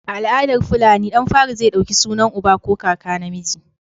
A al'adar fulani, ɗan fari zai ɗauki sunan uba ko kaka namiji.